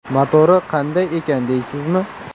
Motori qanday ekan deysizmi?